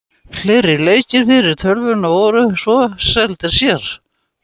Fleiri leikir fyrir tölvuna voru svo seldir sér.